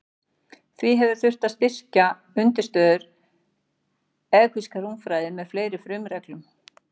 Því hefur þurft að styrkja undirstöður evklíðskrar rúmfræði með fleiri frumreglum.